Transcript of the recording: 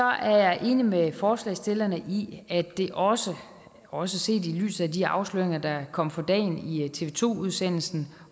er jeg enig med forslagsstillerne i at det også også set i lyset af de afsløringer der kom for dagen i tv to udsendelsen